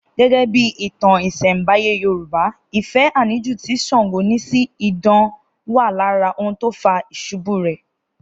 Gẹ́gẹ́ bí ìtàn ìsẹ̀nbáyé Yorùbá, ìfẹ́ àníjù tí Ṣàngó ní sí idán wà lára ohun tó fà ìṣubú rẹ̀